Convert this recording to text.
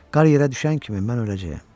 Qar yerə düşən kimi mən öləcəyəm.